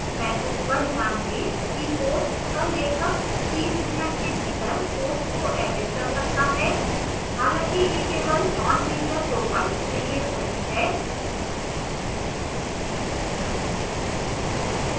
message पर ध्यान दें कि post का लेखक 30 mins के भीतर post को edit कर सकता है हालाँकि यह केवल nonteacher profiles के लिए सही है